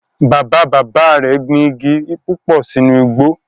Bàbá bàbá rẹ̀ gbin igi púpò sínú igbó